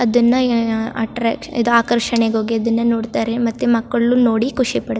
ಅದುನ್ನಾ attraction ಆಹ್ಹ್ ಆಕರ್ಷಣೆ ಹೋಗಿ ಅದುನ್ನ ನೋಡ್ತಾರೆ ಮತ್ತೆ ಮಕ್ಕಳ್ ನು ನೋಡಿ ಖುಷಿ ಪಡ --